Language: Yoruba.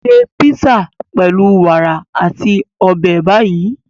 Ṣé písà pẹlu wàrà ati obe Bayi.